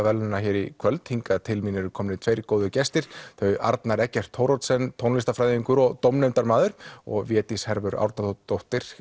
verðlaunanna hér í kvöld hingað til mín eru komnir tveir góðir gestir þau Arnar Eggert Thoroddsen tónlistarfræðingur og dómnefndarmaður og Védís